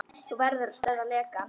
Þú verður að stöðva lekann.